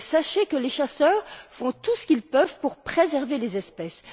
Sachez que les chasseurs font tout ce qu'il peuvent pour préserver les espèces.